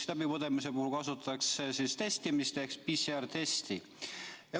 Läbipõdemise puhul kasutatakse testimiseks PCR testi.